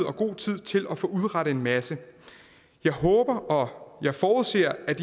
og god tid til at få udrettet en masse jeg håber og jeg forudser at